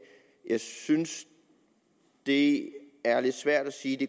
jeg synes det er lidt svært at sige at